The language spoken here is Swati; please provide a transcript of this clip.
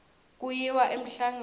kuyiwa emhlangeni